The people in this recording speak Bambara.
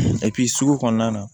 sugu kɔnɔna na